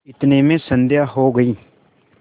इतने में संध्या हो गयी